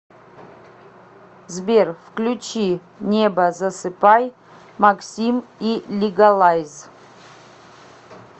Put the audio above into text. сбер включи небо засыпай максим и лигалайз